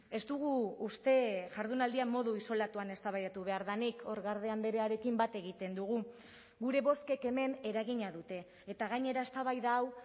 ez dugu uste jardunaldia modu isolatuan eztabaidatu behar denik hor garde andrearekin bat egiten dugu gure bozkek hemen eragina dute eta gainera eztabaida hau